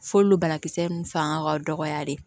F'olu banakisɛ ninnu fanga ka dɔgɔya de